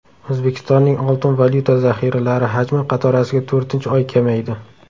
O‘zbekistonning oltin-valyuta zaxiralari hajmi qatorasiga to‘rtinchi oy kamaydi.